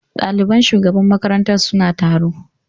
Ɗaliban shugaban makarantar suna taro.